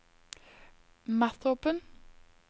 Mathopen